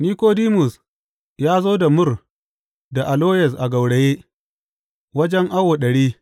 Nikodimus ya zo da mur da aloyes a gauraye, wajen awo ɗari.